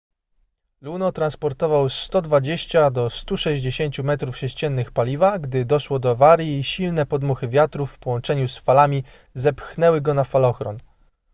luno transportował 120-160 metrów sześciennych paliwa gdy doszło do awarii i silne podmuchy wiatru w połączeniu z falami zepchnęły go na falochron